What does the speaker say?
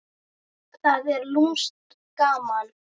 Það er lúmskt gaman.